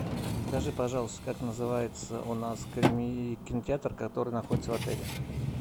скажи пожалуйста как называется у нас кинотеатр который находится в отеле